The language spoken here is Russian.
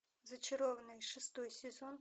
зачарованные шестой сезон